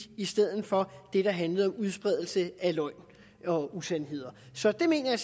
i stedet for det der handlede om udspredelse af løgn og usandheder så det mener jeg